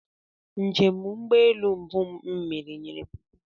Njem ụgbọelu mbụ m mere nyere m ọṅụ